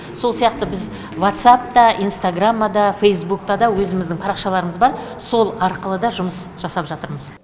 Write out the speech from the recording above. сол сияқты біз ватсап та инстаграмма да фейсбукта да өзіміздің парақшаларымыз бар сол арқылы да жұмыс жасап жатырмыз